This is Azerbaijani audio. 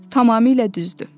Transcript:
Tamamilə düzdür.